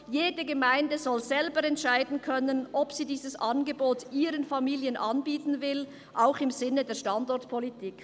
«Jede Gemeinde soll selber entscheiden können, ob sie dieses Angebot ihren Familien bieten will, auch im Sinne der Standortpolitik.»